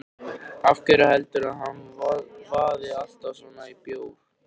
Af hverju heldurðu að hann vaði alltaf svona í bjór?